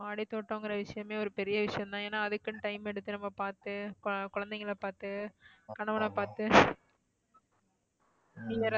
மாடித்தோட்டம்ங்கற விஷயமே ஒரு பெரிய விஷயம்தான் ஏன்னா அதுக்குன்னு time எடுத்து நம்ப பார்த்து கு~ குழந்தைகளை பார்த்து கணவனை பார்த்து நீ வேற